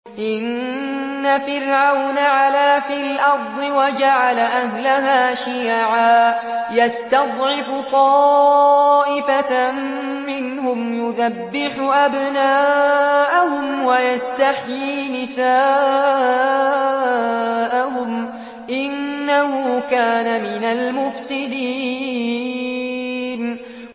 إِنَّ فِرْعَوْنَ عَلَا فِي الْأَرْضِ وَجَعَلَ أَهْلَهَا شِيَعًا يَسْتَضْعِفُ طَائِفَةً مِّنْهُمْ يُذَبِّحُ أَبْنَاءَهُمْ وَيَسْتَحْيِي نِسَاءَهُمْ ۚ إِنَّهُ كَانَ مِنَ الْمُفْسِدِينَ